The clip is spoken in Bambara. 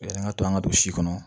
Yanni an ka to an ka don si kɔnɔ